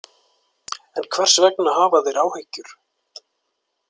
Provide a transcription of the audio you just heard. En hvers vegna hafa þeir áhyggjur?